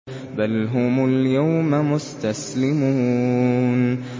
بَلْ هُمُ الْيَوْمَ مُسْتَسْلِمُونَ